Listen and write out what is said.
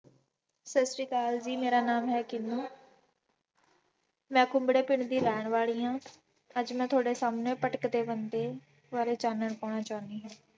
ਸਤਿ ਸ੍ਰੀ ਅਕਾਲ ਜੀ, ਮੇਰਾ ਨਾਮ ਹੈ ਟੀਨੂੰ ਮੈਂ ਕੁੰਬੜੇ ਪਿੰਡ ਦੀ ਰਹਿਣ ਵਾਲੀ ਹਾਂ, ਅੱਜ ਮੈਂ ਤੁਹਾਡੇ ਸਾਹਮਣੇ ਭਟਕਦੇ ਬੰਦੇ ਬਾਰੇ ਚਾਨਣ ਪਾਉਣਾ ਚਾਹੁੰਦੀ ਹਾਂ।